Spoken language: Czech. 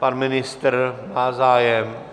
Pan ministr má zájem?